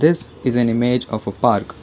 this is an image of a park.